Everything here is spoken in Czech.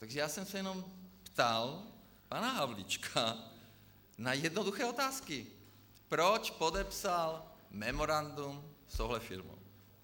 Takže já jsem se jenom ptal pana Havlíčka na jednoduché otázky, proč podepsal memorandum s touhle firmou.